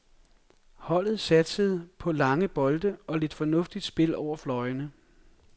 Holdet satsede på lange bolde og lidt fornuftigt spil over fløjene.